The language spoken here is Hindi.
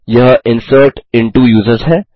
यह इंसर्ट इंटो यूजर्स है